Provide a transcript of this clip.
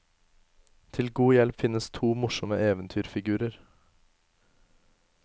Til god hjelp finnes to morsomme eventyrfigurer.